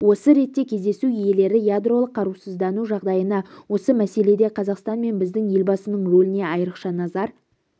осы ретте кездесу иелері ядролық қарусыздану жағдайына осы мәселеде қазақстан мен біздің елбасының рөліне айрықша назар